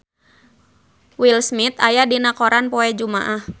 Will Smith aya dina koran poe Jumaah